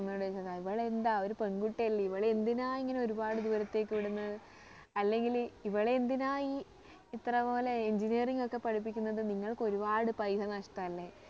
അമ്മയോട് ചോദിച്ചതാ ഇവളെ എന്താ ഒരു പെൺകുട്ടി അല്ലെ ഇവളെ എന്തിനാ ഇങ്ങനെ ഒരുപാട് ദൂരത്തേക്കൊക്കെ വിടുന്നത് അല്ലങ്കില് ഇവളെ എന്തിനാ ഈ ഇത്രപോലെ Engineering ഒക്കെ പഠിപ്പിക്കുന്നത് നിങ്ങൾക്ക് ഒരുപാട് പൈസ നഷ്ട്ടം അല്ലേ